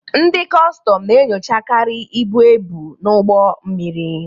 Ndị kọstọm na-enyochakarị ibu ebu n'ụgbọ mmiri.